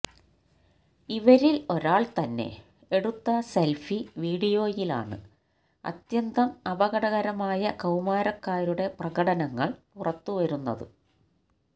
ഇവരില് ഒരാള് തന്നെ എടുത്ത സെല്ഫി വീഡിയോയിലാണ് അത്യന്തം അപകടകരമായ കൌമാരക്കാരുടെ പ്രകടനങ്ങള് പുറത്തുവരുന്നത്